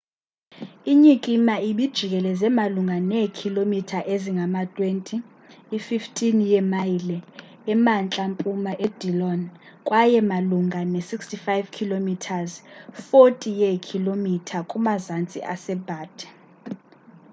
inyikima ibijikeleze malunga neekhilomitha ezingama-20 i-15 yeemayile emantla-mpuma edillon kwaye malunga ne-65 km 40 yeekhilomitha kumazantsi ebutte